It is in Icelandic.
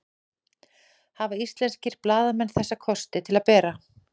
Hafa íslenskir blaðamenn þessa kosti til að bera?